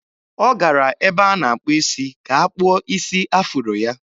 Ọ gara ebe a na-akpụ isi ka a kpụọ isi afuro ya.